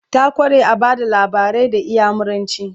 ta kware a Bada labarai da inyamuranci